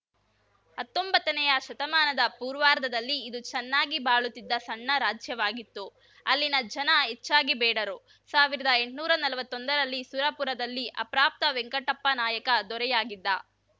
ಹತ್ತೊಂಬತ್ತನೆಯ ಶತಮಾನದ ಪೂರ್ವಾರ್ಧದಲ್ಲಿ ಇದು ಚೆನ್ನಾಗಿ ಬಾಳುತ್ತಿದ್ದ ಸಣ್ಣ ರಾಜ್ಯವಾಗಿತ್ತು ಅಲ್ಲಿನ ಜನ ಹೆಚ್ಚಾಗಿ ಬೇಡರು ಸಾವಿರದ ಎಂಟ್ನೂರಾ ನಲ್ವತ್ತೊಂದರಲ್ಲಿ ಸುರಪುರದಲ್ಲಿ ಅಪ್ರಾಪ್ತ ವೆಂಕಟಪ್ಪನಾಯಕ ದೊರೆಯಾಗಿದ್ದ